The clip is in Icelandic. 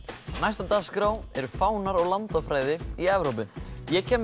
næst á dagskrá eru fánar og landafræði í Evrópu ég kem með